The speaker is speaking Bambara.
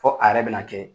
Fo a yɛrɛ bɛna kɛ